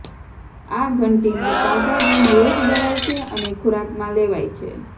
આ ઘંટીમાં તાજા ઘઉં રોજ દળાય છે અને ખોરાકમાં લેવાય છે